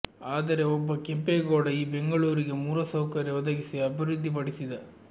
ಆದರೆ ಒಬ್ಬ ಕೆಂಪೇಗೌಡ ಈ ಬೆಂಗಳೂರಿಗೆ ಮೂಲಸೌಕರ್ಯ ಒದಗಿಸಿ ಅಭಿವೃದ್ಧಿ ಪಡಿಸಿದ